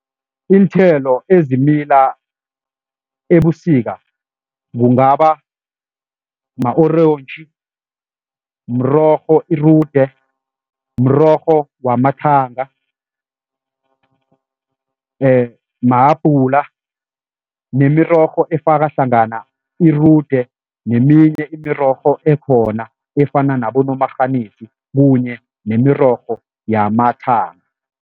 Iinthelo ezimila ebusika kungaba ma-orentji, mrorho irude, mrorho wamathanga, ma-apple nemirorho efaka hlangana irude neminye imirorho ekhona efana nabomarharinisi kunye nemirorho yamathanga.